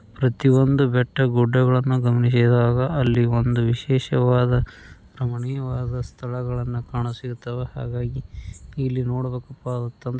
ಪ್ರತಿಒಂದು ಬೆಟ್ಟ ಗುಡ್ಡಗಳನ್ನು ಗಮನಿಸಿದಾಗ ಅಲ್ಲಿ ಒಂದು ವಿಶೇಷವಾದ ರಮಣೀಯವಾದ ಸ್ತಳಗಳನ್ನ ಕಾಣಿಸಿರುತ್ತವೆ ಹಾಗಾಗಿ ಇಲ್ಲಿ ನೋಡ್ ಬೆಕ್ಕಪ್ಪ ಅಂತ ಅಂದ್ರೆ --